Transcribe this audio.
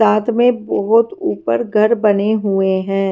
साथ में बहुत ऊपर घर बने हुए हैं।